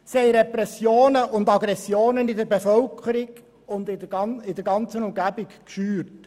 Sie haben Repressionen und Aggressionen in der Bevölkerung und der ganzen Umgebung geschürt.